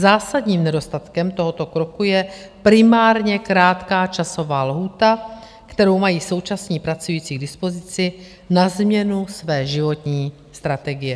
Zásadním nedostatkem tohoto kroku je primárně krátká časová lhůta, kterou mají současní pracující k dispozici na změnu své životní strategie.